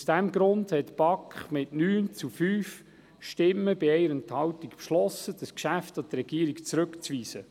Aus diesem Grund hat die BaK mit 9 zu 5 Stimmen bei 1 Enthaltung beschlossen, das Geschäft an den Regierungsrat zurückzuweisen.